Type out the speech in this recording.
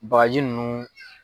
Bagaji ninnu